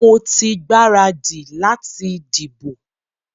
Mo ti gbaradì láti dìbò.